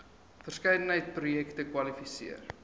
verskeidenheid projekte kwalifiseer